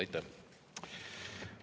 Aitäh!